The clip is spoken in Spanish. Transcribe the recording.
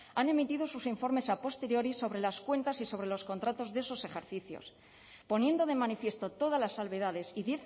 han emitido sus informes a posteriori sobre las cuentas y sobre los contratos de esos ejercicios poniendo de manifiesto todas las salvedades y